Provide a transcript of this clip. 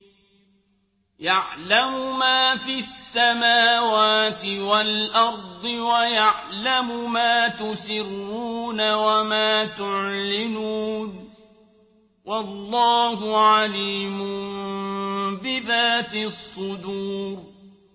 يَعْلَمُ مَا فِي السَّمَاوَاتِ وَالْأَرْضِ وَيَعْلَمُ مَا تُسِرُّونَ وَمَا تُعْلِنُونَ ۚ وَاللَّهُ عَلِيمٌ بِذَاتِ الصُّدُورِ